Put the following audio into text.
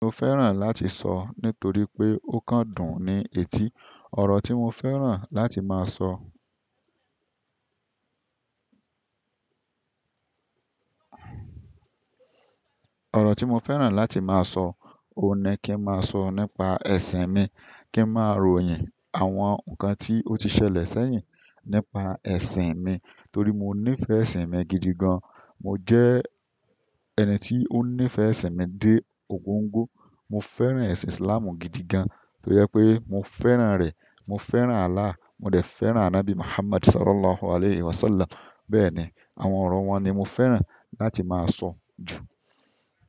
Mo fẹ́ràn láti sọ nítorí pé ó kan dùn ni etí. Ọ̀rọ̀ tí mo fẹ́ràn láti máa ọ̀rọ̀ tí mo fẹ́ràn láti máa sọ, òun ni kí n máa sọ nípa ẹ̀sìn mi, kí n máa ròyìn àwọn nǹkan tí ó ti ṣẹlẹ̀ sẹ́yìn nípa ẹ̀sìn mi. Torí mo nífẹ̀ẹ́ ẹ̀sìn mi gidi gan. Mo jẹ́ ẹni tí ó nífẹ̀ẹ́ ẹ̀sìn mi dé 'góńgó. Mo fẹ́ràn ẹ̀sìn Islam gidi gan, tó jẹ pé mo fẹ́ràn rẹ̀. Mo fẹ́ràn Allah, mo de fẹ́ràn Ànábì Muhammad Sallallahu Alaihi Wasallam. Bẹ́ẹ̀ ni, àwọn ọ̀rọ̀ wọn ni mo fẹ́ràn láti máa sọ jù.